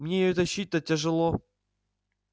мне её тащить-то тяжело